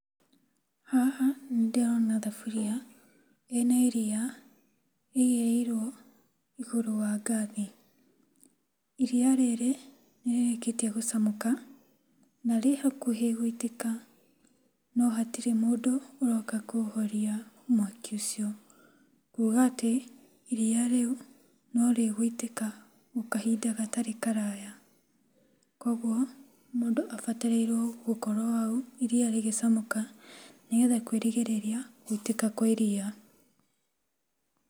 Haha nĩndĩrona thaburia ĩna iriya ĩigĩrĩirwo igũrũ wa ngathi. Iriya rĩrĩ nĩrĩrĩkĩtie gũcamũka na rĩ hakuhĩ gũitĩka, no hatirĩ mũndũ ũroka kũhoria mwaki ũcio. Kuga atĩ iriya rĩu norĩgũitĩka kahinda gatarĩ kũraya. Koguo mũndũ abatairwo gũkorwo hau iriya rĩgĩcamũka nĩgetha kwĩ rigĩgĩrĩria gũitĩka kwa iriya.